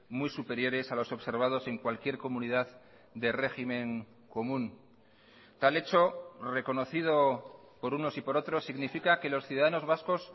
muy superiores a los observados en cualquier comunidad de régimen común tal hecho reconocido por unos y por otros significa que los ciudadanos vascos